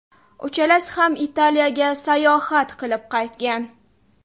Uchalasi ham Italiyaga sayohat qilib qaytgan.